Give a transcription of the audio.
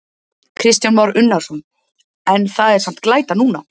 Kristján Már Unnarsson: En það er samt glæta núna?